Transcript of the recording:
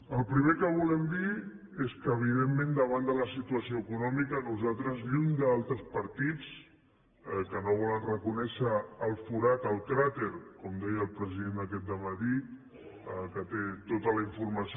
el primer que volem dir és que evidentment davant de la situació econòmica nosaltres lluny d’altres partits que no volen reconèixer el forat el cràter com deia el president aquest dematí que té tota la informació